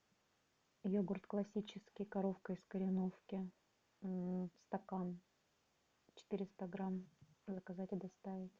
йогурт классический коровка из кореновки стакан четыреста грамм заказать и доставить